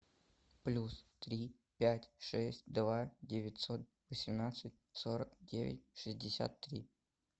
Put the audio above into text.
плюс три пять шесть два девятьсот восемнадцать сорок девять шестьдесят три